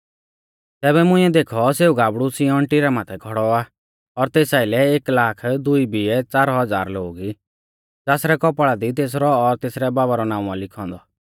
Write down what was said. तैबै मुंइऐ देखौ सेऊ गाबड़ु सिय्योन टिरा माथै खौड़ौ आ और तेस आइलै एक लाख दुई बिऐ च़ार हज़ार लोग ई ज़ासरै कौपाल़ा दी तेसरौ और तेसरै बाबा रौ नाऊं आ लिखौ औन्दौ